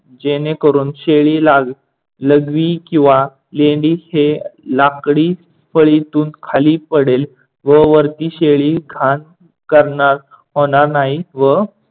जेणेकरून शेळीला लघवी किव्हा लेंडही हे लाकडी फळीतून खाली पडेल व वरती शेळी घाण करणार होणार नाही व